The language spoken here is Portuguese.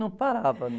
Não parava, não.